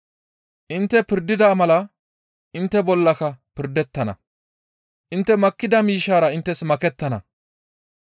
Intte pirdida mala intte bollaka pirdettana. Intte makkida miishshara inttes makettana.